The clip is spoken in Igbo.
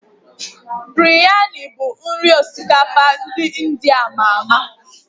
Biryani bụ nri osikapa ndị India ama ama